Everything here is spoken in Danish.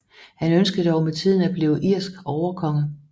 Han ønskede dog med tiden at blive irsk overkonge